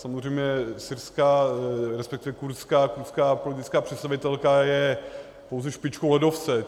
Samozřejmě syrská, respektive kurdská politická představitelka je pouze špičkou ledovce.